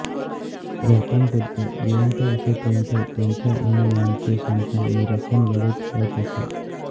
गौतम बुद्ध जिवंत असेपर्यंत त्याच्या अनुयायांचे शंका निरसन वेळीच होत असे